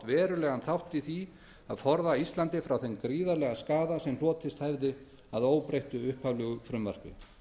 verulegan þátt í því að forða íslandi frá þeim gríðarlega skaða sem hlotist hefði af óbreyttu upphaflegu frumvarpi